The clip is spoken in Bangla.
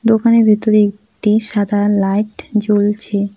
দোকানের ভিতরে একটি সাদা লাইট জ্বলছে।